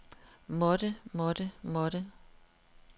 måtte måtte måtte